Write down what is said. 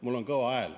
Mul on kõva hääl.